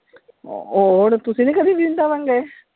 ਹੋਰ ਤੁਸੀਂ ਨਹੀਂ ਕਦੀ ਵ੍ਰਿੰਦਾਵਨ ਗਏ?